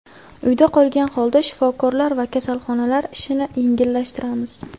Uyda qolgan holda shifokorlar va kasalxonalar ishini yengillashtiramiz.